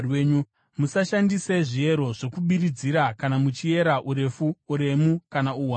“ ‘Musashandise zviero zvokubiridzira kana muchiera urefu, uremu kana uwandu.